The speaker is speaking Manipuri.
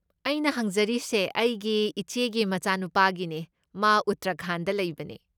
ꯑꯩꯅ ꯍꯪꯖꯔꯤꯁꯦ ꯑꯩꯒꯤ ꯏꯆꯦꯒꯤ ꯃꯆꯥꯅꯨꯄꯥꯒꯤꯅꯦ ꯃꯥ ꯎꯠꯇꯔꯥꯈꯟꯗ ꯂꯩꯕꯅꯦ꯫